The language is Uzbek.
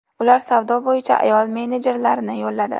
Ular savdo bo‘yicha ayol menejerlarni yolladi.